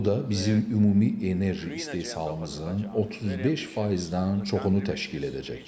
Bu da bizim ümumi enerji istehsalımızın 35%-dən çoxunu təşkil edəcək.